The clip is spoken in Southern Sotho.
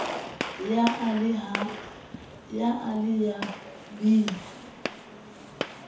ya a le ya b